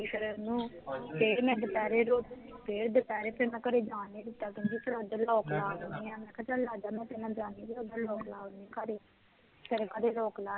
ਫੇਰ ਮੈਂ ਓਹਨੂੰ, ਫੇਰ ਮੈਂ ਦੁਪਹਿਰੇ ਰੋਟੀ, ਮੈਂ ਦੁਪਹਿਰੇ ਓਹਨੂੰ ਘਰੇ ਜਾਂ ਨੀ ਦਿੱਤਾ, ਕਹਿੰਦੀ ਫੇਰ ਮੈਂ ਓਥੇ ਲੌਕ ਲਗਾ ਦੇਣੀ ਹਾਂ, ਮੈਂ ਕਿਹਾ ਚਲ ਆਜਾ ਮੈਂ ਤੇਰੇ ਨਾਲ ਜਾਣੀ ਹਾਂ ਤੇ ਘਰੇ ਲੌਕ ਲਾ ਆਉਣੀ ਹਾਂ ਫੇਰ ਮੈਂ ਘਰੇ ਲੌਕ ਲਾ ਆਈ